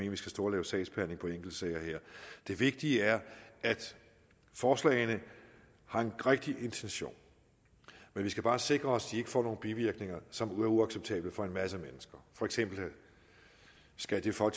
at vi skal stå og lave sagsbehandling på enkeltsager her det vigtige er at forslagene har en rigtig intention men vi skal bare sikre os at de ikke får nogen bivirkninger som er uacceptable for en masse mennesker skal for